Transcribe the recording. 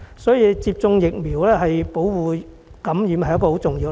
所以，接種疫苗對於提供保護免受感染是很重要的。